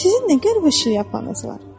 Sizin nə qəribə şlyapalarınız var?